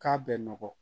K'a bɛ nɔgɔ